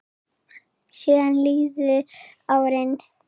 Síðan liðu árin.